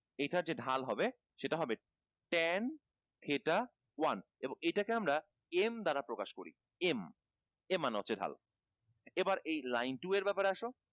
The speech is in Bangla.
এইটা যে ঢাল হবে সেটা হবে ten theta one এবং এটা কে আমরা m দ্বারা প্রকাশ করি m m মান হচ্ছে ঢাল এইবার এই line two এর ব্যাপারে আসো